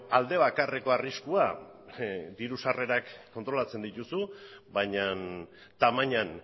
alde bakarreko arriskua diru sarrerak kontrolatzen dituzu baina tamainan